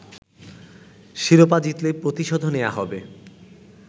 শিরোপা জিতলে প্রতিশোধও নেয়া হবে